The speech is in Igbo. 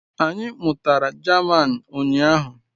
Anyị mụtara German ụnyahụ